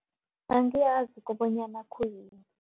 Angiyazi kobonyana khuyini.